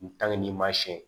n'i ma siɲɛ